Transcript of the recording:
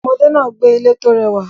Ọmọdé náà gbé ilé tó rẹwà